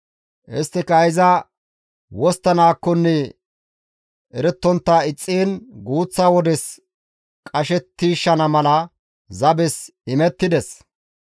Isttika iza wosttanaakkonne erettontta ixxiin guuththa wodes qashettiishana mala zabes imettides.